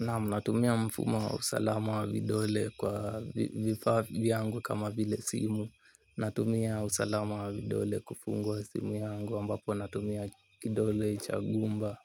Naam natumia mfumo wa usalama wa vidole kwa vifaa vyangu kama vile simu. Natumia usalama wa vidole kufungua simu yangu ambapo natumia kidole cha gumba.